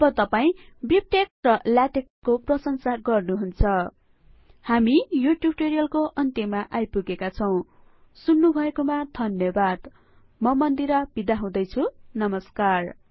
अब तपाई बिबटेक्स र लेटेक्स को प्रसंशा गर्नुहुन्छ हामी यो ट्युटोरीअलको अन्तयमा आइपुगेका छौं सुन्नुभएको मा धन्यबाद म मन्दिरा थापा बिदा हुदैछु नमस्कार